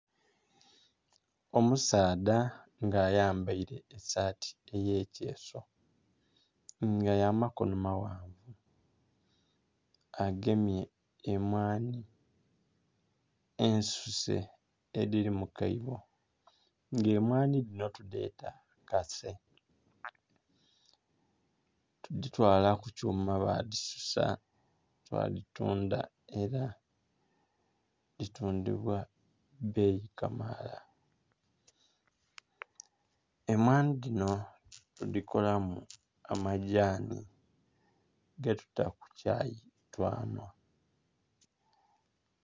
Omusaadha nga ayambaile esaati ey'ekyeeso nga ya makono maghanvu agemye emwanhi ensuse edhili mu kaibo, nga emwanhi dhino tudheeta kase. Tudhitwala ku kyuma badhisusa badhitundha ela dhitundhibwa bbeyi kamaala. Emwanhi dhino tudhikolamu amagyani getuta ku chai twanhwa.